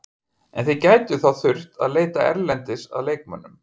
En þið gætuð þá þurft að leita erlendis að leikmönnum?